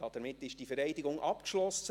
Damit ist diese Wahl abgeschlossen.